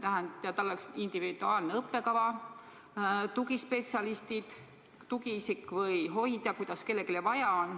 Tal oleks individuaalne õppekava, oma tugispetsialistid, tugiisik või hoidja, kuidas kellelgi vaja on.